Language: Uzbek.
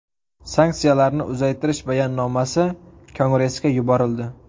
Sanksiyalarni uzaytirish bayonnomasi Kongressga yuborildi.